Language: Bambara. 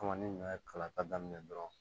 Kama ni ɲɔ ye kala ta daminɛ dɔrɔn